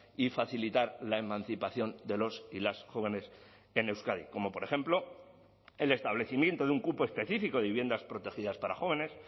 y facilitar la emancipación de los y las jóvenes en euskadi como por ejemplo el establecimiento de un cupo específico de viviendas protegidas para jóvenes